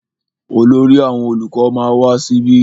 Olórí àwọn olùkọ ma wá síbí.